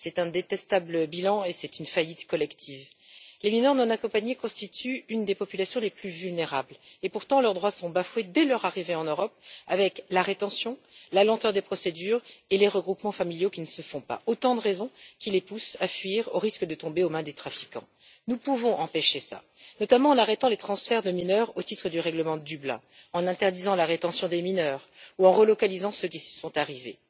C'est un détestable bilan et une faillite collective. Les mineurs non accompagnés constituent l'une des populations les plus vulnérables et, pourtant, leurs droits sont bafoués dès leur arrivée en Europe, avec la rétention, la lenteur des procédures et les regroupements familiaux qui ne se font pas, autant de raisons qui les poussent à fuir au risque de tomber aux mains des trafiquants. Nous pouvons empêcher cela, notamment en arrêtant les transferts de mineurs au titre du règlement de Dublin, en interdisant la rétention des mineurs ou en relocalisant ceux qui sont arrivés.